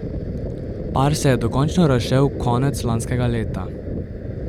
Par se je dokončno razšel konec lanskega leta.